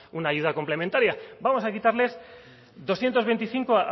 una ayuda complementaria vamos a quitarles doscientos veinticinco